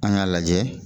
An k'a lajɛ